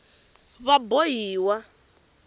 vabohiwa